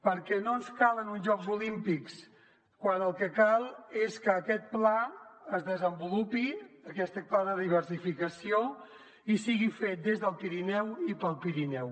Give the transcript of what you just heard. perquè no ens calen uns jocs olímpics quan el que cal és que aquest pla es desenvolupi aquest pla de diversificació i sigui fet des del pirineu i per al pirineu